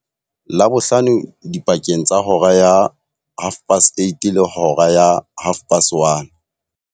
Labohlano dipakeng tsa hora ya 0830 le hora ya 1330.